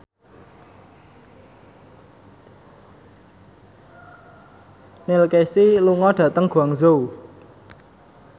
Neil Casey lunga dhateng Guangzhou